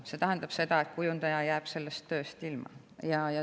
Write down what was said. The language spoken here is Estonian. See tähendab, et kujundaja jääb sellest tööst ilma.